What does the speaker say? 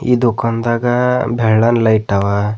ಈ ದುಖಾನದಾಗ ಬೆಳ್ಳನ್ ಲೈಟ್ ಅವ.